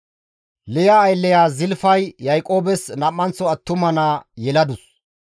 Liya aylleya Zilfay Yaaqoobes nam7anththo attuma naa yeladus.